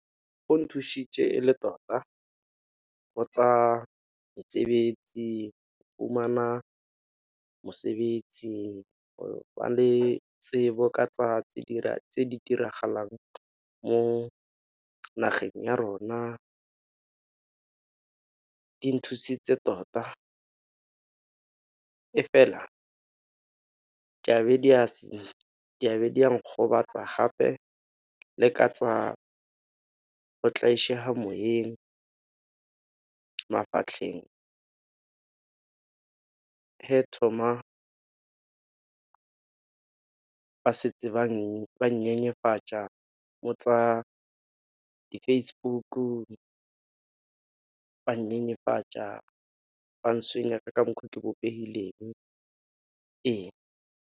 Go nthušitše e le tota, go tsa mesebetsi go fumana mosebetsi go ba le tsebo ka tsa tse di diragalang mo nageng ya rona. Di nthusitse tota, e fela di a be di a nkgobatsa gape le ka tsa go , mafatlheng, he thoma ba setse ba nnyenyefatša mo tsa di-Facebook-u ba nnyenyefatša ka mokgwa ke bopehileng ee.